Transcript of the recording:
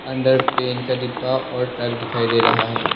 अंदर पेंट का डिब्बा और ट्रक दिखाई दे रहा है।